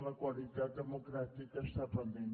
la qualitat democràtica està pendent